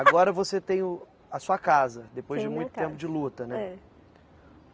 Agora você tem a sua casa, depois de muito tempo de luta, né?